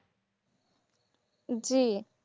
জি